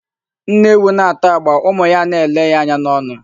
Nne ewu na-ata agba, ụmụ ya a na-ele ya anya n'ọnụ.